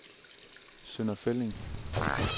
Sønder Felding